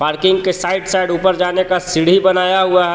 Parking के side side ऊपर जाने का सीढी बनाया हुआ हे.